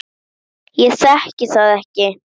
Ég þekki það ekki.